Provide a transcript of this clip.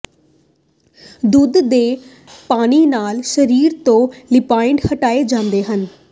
ਦੁੱਧ ਦੇ ਪਨੀ ਨਾਲ ਸਰੀਰ ਤੋਂ ਲਿਪਾਈਡ ਹਟਾਏ ਜਾਂਦੇ ਹਨ